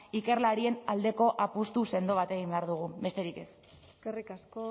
ikerlarien aldeko apustu sendo bat egin behar dugu besterik ez eskerrik asko